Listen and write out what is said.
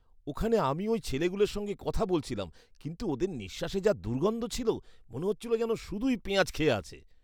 ওখানে আমি ওই ছেলেগুলোর সঙ্গে কথা বলছিলাম কিন্তু ওদের নিঃশ্বাসে যা দুর্গন্ধ ছিল। মনে হচ্ছিল যেন শুধুই পেঁয়াজ খেয়ে আছে।